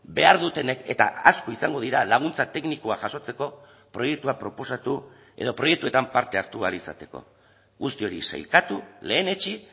behar dutenek eta asko izango dira laguntza teknikoa jasotzeko proiektua proposatu edo proiektuetan parte hartu ahal izateko guzti hori sailkatu lehenetsi